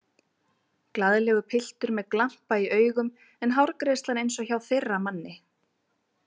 Glaðlegur piltur með glampa í augum en hárgreiðslan eins og hjá þeirra manni.